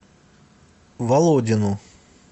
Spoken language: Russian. володину